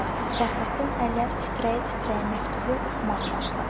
Fəxrəddin əllər titrəyə-titrəyə məktubu oxumağa başladı.